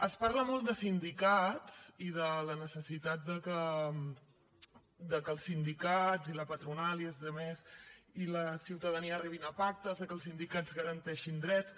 es parla molt de sindicats i de la necessitat que els sindicats i la patronal i els altres i la ciutadania arribin a pactes que els sindicats garanteixin drets